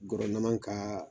Guwernaman ka